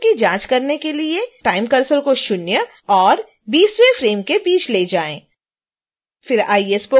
animation की जाँच करने के लिए time cursor को शून्य और 20